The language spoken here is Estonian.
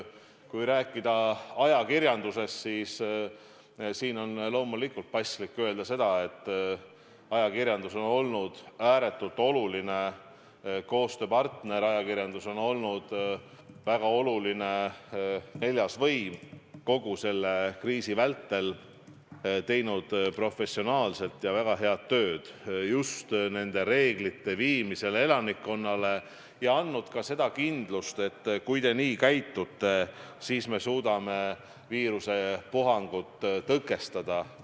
Kui rääkida ajakirjandusest, siis on paslik öelda seda, et ajakirjandus on olnud ääretult oluline koostööpartner, ajakirjandus on olnud väga oluline neljas võim kogu selle kriisi vältel, teinud professionaalset ja väga head tööd just nende reeglite elanikkonnale teatavaks tegemisel, ja andnud ka kindlust, et kui te nii käitute, siis me suudame viirusepuhangut tõkestada.